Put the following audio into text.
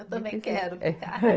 Eu também quero ficar.